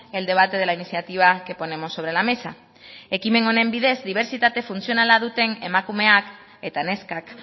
el debate de la iniciativa que ponemos sobre la mesa ekimen honen bidez dibertsitate funtzionala duten emakumeak eta neskak